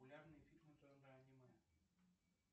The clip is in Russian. популярные фильмы жанра аниме